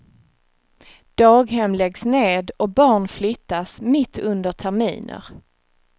Daghem läggs ned och barn flyttas mitt under terminer.